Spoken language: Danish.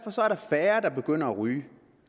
færre der begynder at ryge